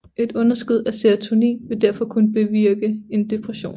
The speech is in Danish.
Et underskud af serotonin vil derfor kunne bevirke en depression